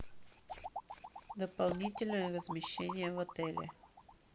дополнительное размещение в отеле